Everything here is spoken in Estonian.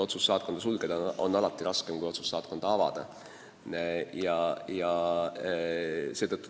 Otsus saatkonda sulgeda on alati raskem kui otsus saatkonda avada.